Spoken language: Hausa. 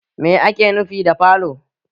Mai ake nufi da falo?